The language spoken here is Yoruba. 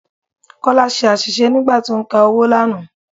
Kọ́lá ṣe àṣìṣe nígbà tí ó ń ka owó lánàá.